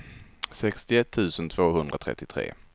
sextioett tusen tvåhundratrettiotre